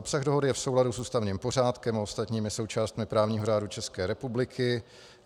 Obsah dohody je v souladu s ústavním pořádkem a ostatními součástmi právního řádu České republiky.